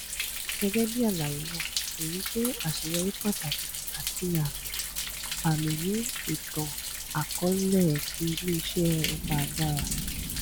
gẹgẹbi alaye naa eyi jẹ aṣeyọri pataki ati amiami ni itanakọọlẹ ti ileiṣẹ owo agbara